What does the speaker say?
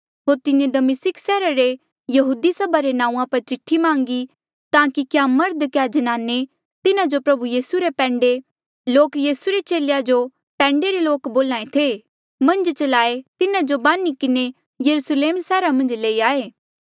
होर तिन्हें दमिस्का सैहरा रे यहूदी सभा रे नांऊँआं पर चिठिया मांगी ताकि क्या मर्ध क्या ज्नाने तिन्हा जो प्रभु यीसू रे पैंडे लोक यीसू रे चेलेया जो पैंडे रे लोक बोल्हा ऐें थे मन्झ चलाहें तिन्हा जो बान्ही किन्हें यरुस्लेम सैहरा मन्झ लई आये